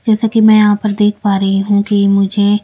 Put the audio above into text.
जैसा कि मैं यहां पर देख पा रही हूं कि मुझे--